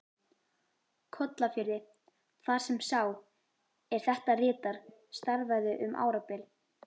Kollafirði, þar sem sá, er þetta ritar, starfaði um árabil.